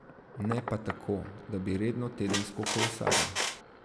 Ne pa tako, da bi redno tedensko kolesaril.